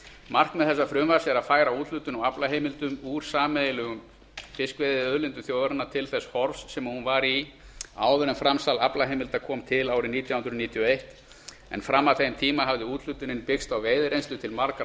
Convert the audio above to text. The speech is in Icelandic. markmið þessa frumvarps er að færa úthlutun á aflaheimildum úr sameiginlegum fiskveiðiauðlindum þjóðarinnar til þess horfs sem hún var í áður en framsal aflaheimilda kom til árið nítján hundruð níutíu og eitt en fram að þeim tíma hafði úthlutunin byggst á veiðireynslu til margra